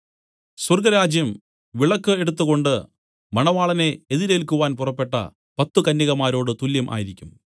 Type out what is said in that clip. സ്വർഗ്ഗരാജ്യം വിളക്കു എടുത്തുകൊണ്ട് മണവാളനെ എതിരേൽക്കുവാൻ പുറപ്പെട്ട പത്തു കന്യകമാരോട് തുല്യം ആയിരിക്കും